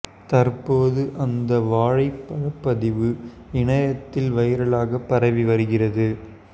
தற்போது அந்த வாழை பழ பதிவு இணையத்தில் வைரலாக பரவி வருகிறது